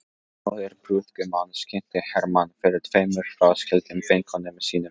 Móðir brúðgumans kynnti Hermann fyrir tveimur fráskildum vinkonum sínum.